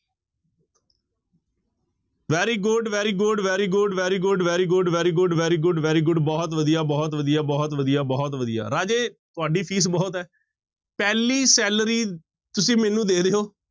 Very good, very good, very good, very good, very good, very good, very good, very good ਬਹੁਤ ਵਧੀਆ, ਬਹੁਤ ਵਧੀਆ, ਬਹੁਤ ਵਧਿਆ, ਬਹੁਤ ਵਧੀਆ ਰਾਜੇ ਤੁਹਾਡੀ ਫੀਸ ਬਹੁਤ ਹੈ ਪਹਿਲੀ salary ਤੁਸੀਂ ਮੈਨੂੰ ਦੇ ਰਹੇ ਹੋ,